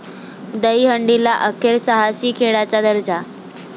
दहीहंडीला अखेर साहसी खेळाचा दर्जा